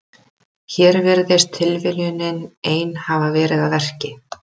Hér virðist tilviljunin ein hafa verið að verki.